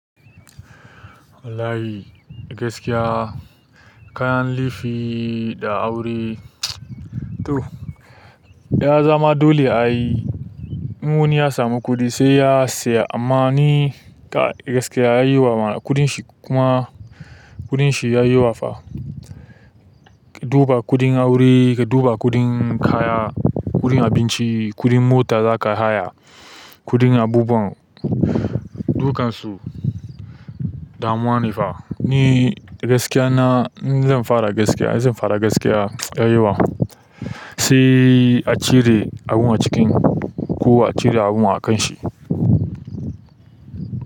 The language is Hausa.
Wallahi gaskiya, kayan lefii da aure to, ya zaman dole a yi. In wani ya samu kuɗi sai ya siya amma ni gaskiya ya yi wa kuma kuɗin shi ya yi wafa. Ka duba kuɗin aure, ka duba kuɗin kaya, kuɗin abinci, kuɗin mota za kayi haya, kuɗin abubuwan dukansu damuwa ne fa. Ni gaskiya na, in zan fara gaskiya, zan faɗa gaskiya ya yawa sai a cire abun a cikin ko a cire abun a kan shi.